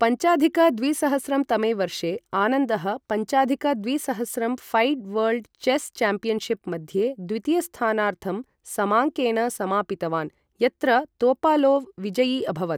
पञ्चाधिक द्विसहस्रं तमे वर्षे, आनन्दः पञ्चाधिक द्विसहस्रं फैड् वर्ल्ड् चेस् चाम्पियन्शिप् मध्ये, द्वितीयस्थानार्थं समाङ्केन समापितवान्, यत्र तोपालोव् विजयी अभवत्।